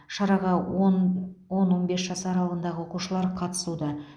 шараға он он он бес жас аралығындағы оқушылар қатысуда